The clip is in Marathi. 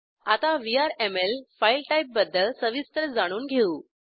आता व्हीआरएमएल फाईल टाईपबद्दल सविस्तर जाणून घेऊ